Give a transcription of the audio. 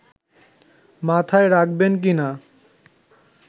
মাথায় রাখবেন কিনা